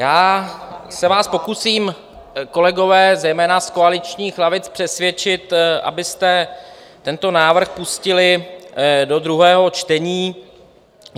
Já se vás pokusím, kolegové, zejména z koaličních lavic, přesvědčit, abyste tento návrh pustili do druhého čtení.